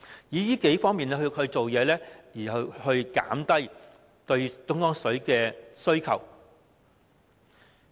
從這數方面下工夫，以減少對東江水的需求。